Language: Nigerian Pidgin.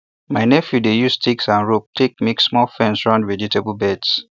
my nephew dey use sticks and ropes take make small fence round vegetable beds